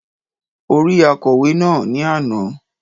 Ó rí akọ̀wé náà ni àná